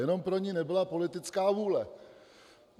Jenom pro ni nebyla politická vůle.